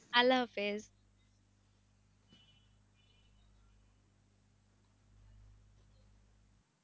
আল্লাহ হাফিজ